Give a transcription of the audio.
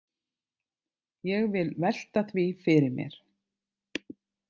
Ég vil velta því fyrir mér.